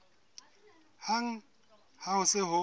hang ha ho se ho